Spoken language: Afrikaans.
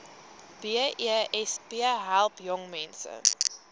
besp help jongmense